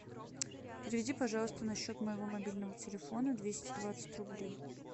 переведи пожалуйста на счет моего мобильного телефона двести двадцать рублей